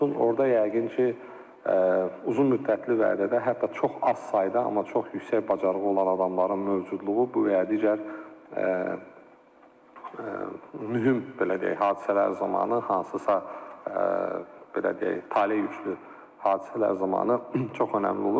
Orada yəqin ki, uzunmüddətli vədədə hətta çox az sayda, amma çox yüksək bacarığı olan adamların mövcudluğu bu və ya digər mühüm belə deyək hadisələr zamanı, hansısa belə deyək taleyüklü hadisələr zamanı çox önəmli olur.